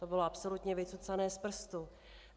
To bylo absolutně vycucané z prstu.